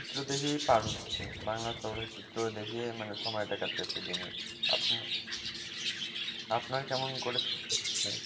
দেখেই পার হচ্ছে, বাংলার চলচ্চিত্র দেখেই মানে সময়টা কাটতাছে দিনের আপনার কেমন করে সময় কাটছে?